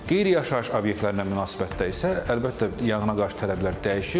Qeyri-yaşayış obyektlərinə münasibətdə isə, əlbəttə, yanğına qarşı tələblər dəyişir.